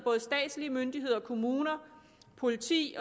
statslige myndigheder kommuner politi